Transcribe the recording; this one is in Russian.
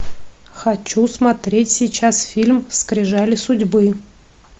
хочу смотреть сейчас фильм скрижали судьбы